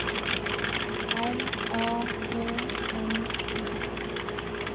R A G N Y